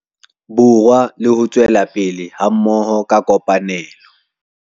Borwa le ho tswela pele hammoho ka kopanelo.